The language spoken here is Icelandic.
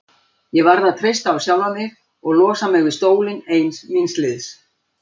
Ég varð að treysta á sjálfa mig og losa mig við stólinn ein míns liðs.